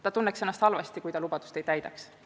Ta tunneks ennast halvasti, kui ta lubadust ei täidaks.